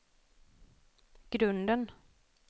grunden